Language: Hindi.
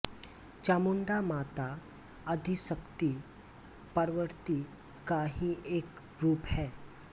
चामुंडा माता अदिशक्ती पार्वती का ही एक रूप है